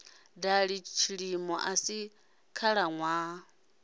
dali tshilimo a si khalaṋwaha